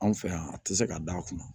Anw fɛ yan a tɛ se ka d'a kunna